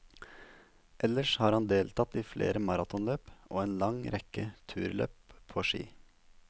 Ellers har han deltatt i flere maratonløp og en lang rekke turløp på ski.